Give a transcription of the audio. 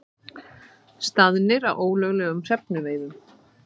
Staðnir að ólöglegum hrefnuveiðum